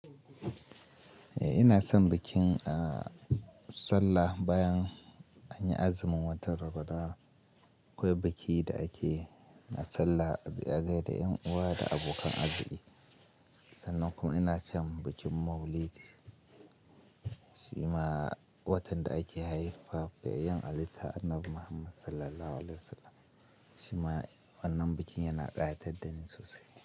Eh ina son bikin, a sallah bayan anyi azumin watan Ramadan. Akwai biki da ake na salla a gai da 'yan uwa da abokan arziki. Sannan kuma ina son bikin Maulidi shima watan da ake haifuwa ga fiyayyen halitta Annabi Muhammad Sallallahu Alaihi Wasallam. Shima wannan bikin yana ƙayatar da ni sosai.